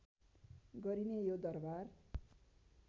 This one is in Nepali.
गरिने यो दरबार